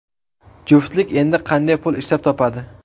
Juftlik endi qanday pul ishlab topadi?